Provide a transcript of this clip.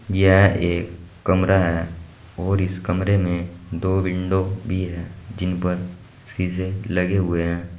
यह एक कमरा है और इस कमरे में दो विंडो भी है जिन पर शीशे लगे हुए हैं।